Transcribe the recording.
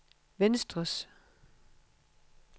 venstres